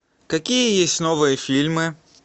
какие есть новые фильмы